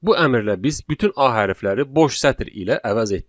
Bu əmrlə biz bütün a hərfləri boş sətr ilə əvəz etdik.